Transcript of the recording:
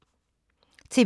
TV 2